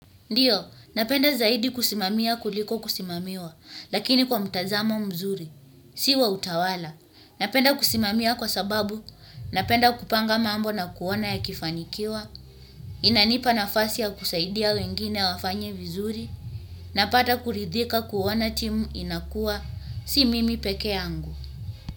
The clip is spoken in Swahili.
Ndiyo, napenda zaidi kusimamia kuliko kusimamiwa, lakini kwa mtazamo mzuri, si wa utawala. Napenda kusimamia kwa sababu, napenda kupanga mambo na kuona yakifanikiwa, inanipa nafasi ya kusaidia wengine wafanye vizuri, napata kuridhika kuona timu inakua, si mimi peke yangu.